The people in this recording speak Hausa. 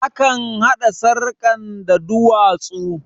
Akan haɗa sarkan da duwatsu